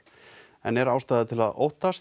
en er ástæða til að óttast